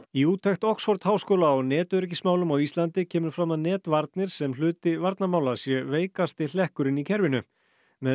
í úttekt Oxford háskóla á netöryggismálum á Íslandi kemur fram að netvarnir sem hluti varnarmála sé veikasti hlekkurinn í kerfinu með